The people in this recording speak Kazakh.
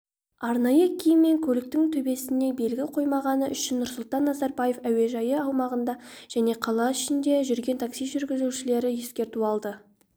арнайы киім мен көліктің төбесіне белгі қоймағаны үшін нұрсұлтан назарбаев әуежайы аумағында және қала ішінде жүрген такси жүргізушілері ескерту алды